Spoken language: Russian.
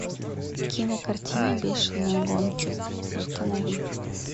кинокартина бешеные гонки установи